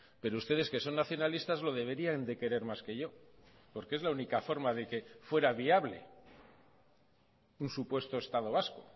pero ustedes que son nacionalistas lo deberían de querer más que yo porque es la única forma de que fuera viable un supuesto estado vasco